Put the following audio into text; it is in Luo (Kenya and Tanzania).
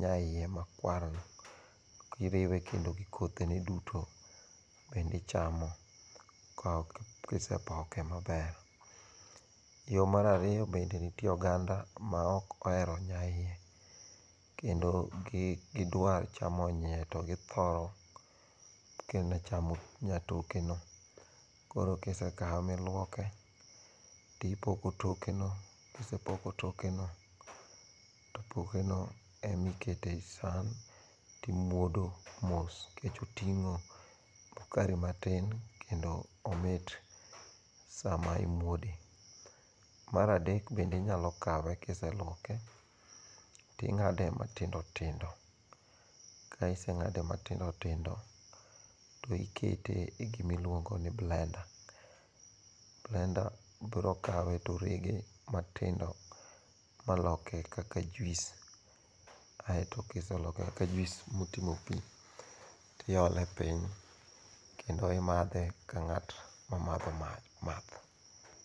nyaiye makwarno kiriwe kendo gi kothene duto bende ichamo kisepoke maber. Yo mar ariyo bende nitie oganda maok ohero nyaiye. kendo ok gidwa chamo nyaiye to githoro kende chamo nyatokeno. Koro kisekawe miluoke, tipoko tokeno. Kisepoko tokeno to pokeno ema iketo e san timwodo mos nikech oting'o sukari matin kendo omit sama imwode. Mar adek bende inyalo kawe kiselwoke, ting'ade matindo tindo. Ka isekete matindo tindo, to ikete igima ilwongo ni blender. Blender biro kawe torege matindo maloke kaka juice aeto ka iseloke kaka juice motimo pi, tiole piny kendo imadhe ka ng'at ma madho math.